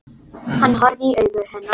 Hann horfði í augu hennar.